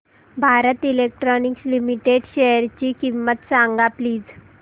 Bharat Electronics Limited शेअरची किंमत सांगा प्लीज